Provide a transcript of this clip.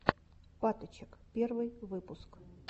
паточек первый выпуск